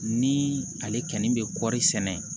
Ni ale kɛni bɛ kɔri sɛnɛ